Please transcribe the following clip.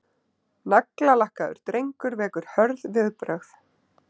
Naglalakkaður drengur vekur hörð viðbrögð